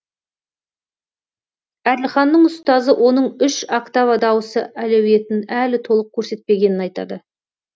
әділханның ұстазы оның үш октава дауысы әлеуетін әлі толық көрсетпегенін айтады